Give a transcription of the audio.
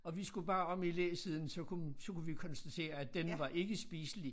Og vi skulle bare om i læsiden så kunne så kunne vi konstatere at den var ikke spiselig